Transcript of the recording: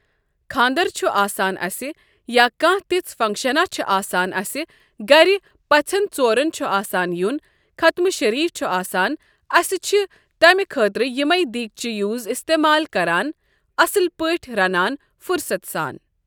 خانٛدَر چھُ آسان اسہِ یا کانٛہہ تِژھ فَنٛکشَنا چھ آسان اسہِ گَرِ پَژھٮ۪ن ژورَن چھُ آسان یُن خَتمہٕ شٔریٖف چھُ آسان أسۍ چھِ تَمہِ خٲطرٕ یِمےٕ دیٖگچہِ یوٗز اِستعمال کَران اَصٕل پٲٹھۍ رَنان فُرصت سان۔